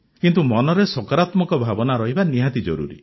କିନ୍ତୁ ମନରେ ସକାରାତ୍ମକ ଭାବନା ରହିବା ବହୁତ ଜରୁରୀ